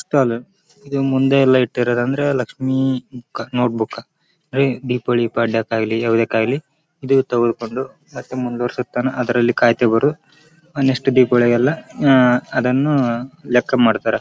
ಇದು Deepa book stall ಅಂತ ಹೇಳಿ ಮಾತಾಯಿಲ್ಲಿ ಬಾಳ ಜನ ಹೋಗ್ತಾಯಿತ್ರರ.